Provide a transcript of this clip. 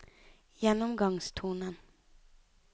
gjennomgangstonen